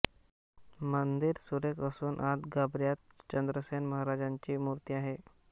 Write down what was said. मंदिर सुरेख असून आत गाभाऱ्यात चंद्रसेन महाराजांची मूर्ती आहे